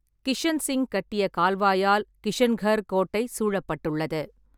கிஷன்சிங் கட்டிய கால்வாயால் கிஷன்கர் கோட்டை சூழப்பட்டுள்ளது.